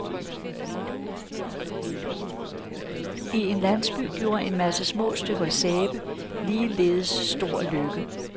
I en landsby gjorde en masse små stykker sæbeligeleds stor lykke.